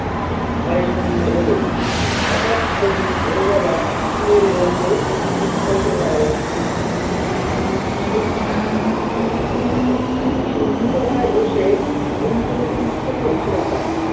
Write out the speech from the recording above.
হয় সন্ধ্যে হলেই হঠাৎ সেদিন ভোর বেলা ফুলের গন্ধে ঘুম ভেঙ্গে গেল নূপুর শিউলিতলায় বসে ফুল কুড়োতে ইচ্ছে করছেনা তার।